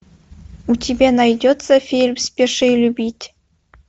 у тебя найдется фильм спеши любить